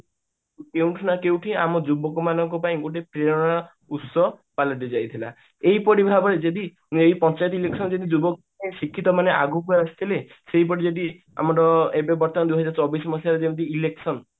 କୋଉଠି ନା କୋଉଠି ଆମ ଯୁବକ ମାନଙ୍କ ପାଇ ଗୋଟେ ଉତ୍ସ ପାଲଟି ଯାଇଥିଲା ଏଇପରି ଭାବରେ ଯଦି ଯାଇ ପଚାରି ଦେଖିବ ଯଦି ଯୁବକ ଶିକ୍ଷିତ ମାନେ ଆଗକୁ ଆସିଥିଲେ ସେଇ ପରି ଯଦି ଆମର ଏବେ ବର୍ତମାନ ଦୁଇହାଜର ଚବିଶି ମସିହାରେ ଯେମତି election